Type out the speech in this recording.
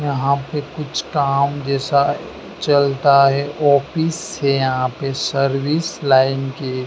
यहां पे कुछ काम जैसा चलता है ऑफिस है यहां पे सर्विस लाइन की--